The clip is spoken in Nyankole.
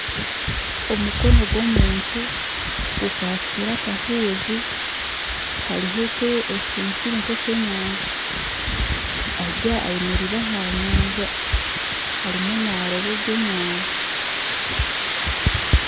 Omukono ogw'omuntu gukwatsire akahuuzi kariho ekintu kiri nk'ekyenyanja. Ayemereire aha nyanja arimu naroba ebyenyanja.